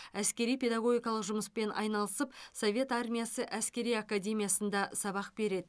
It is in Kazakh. әскери педагогикалық жұмыспен айналасып совет армиясы әскери академиясында сабақ береді